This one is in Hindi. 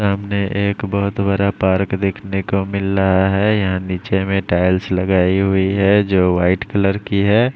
सामने एक बहुत बड़ा पार्क देखने को मिल रहा है यहाँ नीचे में टाइल्स लगाई हुई है जो वाइट कलर की है।